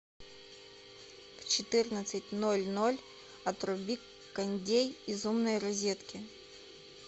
в четырнадцать ноль ноль отруби кондей из умной розетки